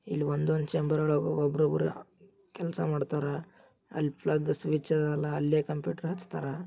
ಇಲ್ಲ ಒಂದೊಂದ್ ಚೇಂಬರ್ ಒಳಗ ಒಬ್ಬರೊಬ್ಬರು ಕೆಲ್ಸ ಮಾಡ್ತಾರ. ಅಲ್ಲ ಪ್ಲಗ್ ಸ್ವಿಚ್ ಅದಲ್ಲ ಅಲ್ಲೇ ಕಂಪ್ಯೂಟರ್ ಹಚ್ತಾರ.